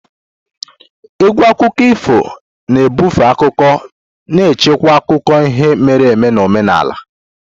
Égwù akụkọ ifo na ebufe akụkọ na-echekwa akụkọ ihe mere eme na omenala.